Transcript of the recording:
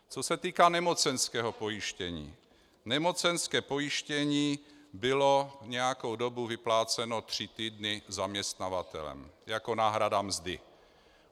Co se týká nemocenského pojištění, nemocenské pojištění bylo nějakou dobu vypláceno tři týdny zaměstnavatelem jako náhrada mzdy.